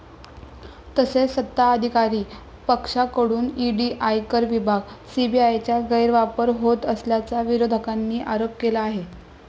तसेच सत्ताधारी पक्षाकडून ईडी, आयकर विभाग, सीबीआयचा गैरवापर होत असल्याचा विरोधकांनी आरोप केला आहे.